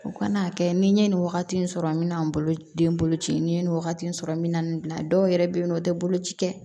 U kana'a kɛ ni n ye nin wagati in sɔrɔ n bɛ na n bolo den bolo ci n'i ye nin wagati in sɔrɔ n bɛ na nin bila dɔw yɛrɛ bɛ yen nɔ o tɛ boloci kɛ